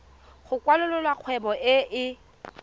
go kwalolola kgwebo e e